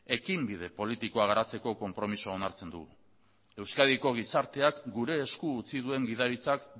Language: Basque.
ekinbide politikoa garatzeko konpromisoa onartzen du euskadiko gizarteak gure esku utzi duen gidaritzak